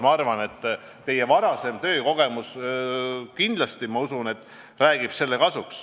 Ma arvan, et te oma varasema töökogemuse tõttu mõistate sellest tekkivat kasu.